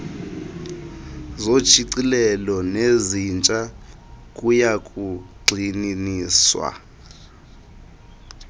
zoshicilelo nezintsha kuyakugxininiswa